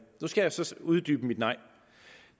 nu skal jeg så uddybe mit nej